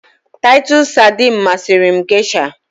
Taịtọs sardines masịrị m geisha